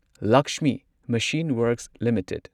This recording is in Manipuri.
Lakshmi machine works limited